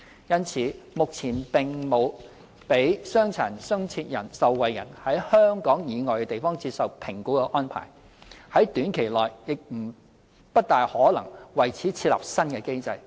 因此，目前並沒有讓傷殘津貼受惠人在香港以外地方接受評估的安排，在短期內亦不大可能為此設立新機制。